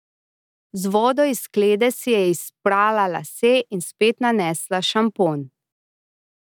Z vodo iz sklede si je izprala lase in spet nanesla šampon.